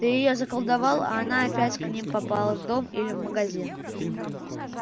ты её заколдовал а она опять к ним попала в дом или магазин